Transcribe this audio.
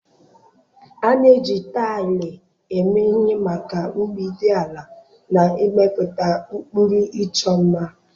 A na-eji taịlị eme ihe maka mgbidi ala, na ịmepụta ụkpụrụ ịchọ mma.